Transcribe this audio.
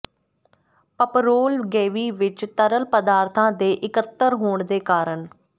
ਪਪੋਰਲ ਗੈਵੀ ਵਿਚ ਤਰਲ ਪਦਾਰਥਾਂ ਦੇ ਇਕੱਤਰ ਹੋਣ ਦੇ ਕਾਰਨ